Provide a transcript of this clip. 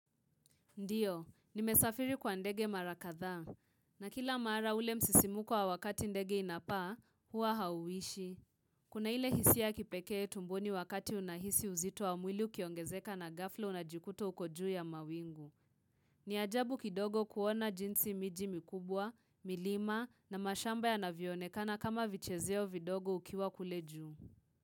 Ndiyo, nimesafiri kwa ndege mara kadhaa na kila maara ule msisimuko wa wakati ndege inapaa hua hauwishi. Kuna ile hisiya kipeke tumboni wakati unahisi uzito wa mwili ukiongezeka na ghafla unajikuto uko juu ya mawingu. Ni ajabu kidogo kuona jinsi miji mikubwa, milima na mashamba yanavionekana kama vichezeo vidogo ukiwa kule juu.